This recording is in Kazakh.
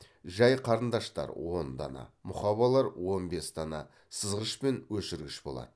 жай қарындаштар он дана мұқабалар он бес дана сызғыш және өшіргіш болады